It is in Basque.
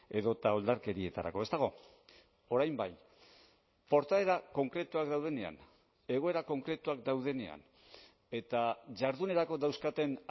edota oldarkerietarako ez dago orain bai portaera konkretuak daudenean egoera konkretuak daudenean eta jardunerako dauzkaten